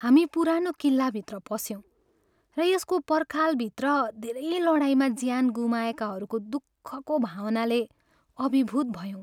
हामी पुरानो किल्लाभित्र पस्यौँ र यसको पर्खालभित्र धेरै लडाईँमा ज्यान गुमाएकाहरूको दुःखको भावनाले अभिभूत भयौँ।